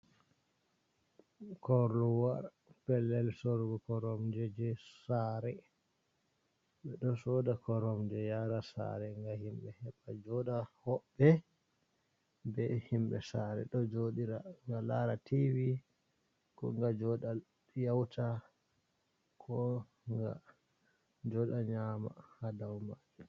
Korowa, pellel sorugo koromje je sare ɓe ɗo soda koromje yara sare ga himɓɓe heɓa joɗa, hoɓɓe be himɓɓe sare ɗo joɗira nga lara tivi, ko ga joɗa yeuta, ko ga joɗa nyama ha dau majum.